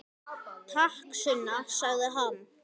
Takk, Sunna, sagði hann.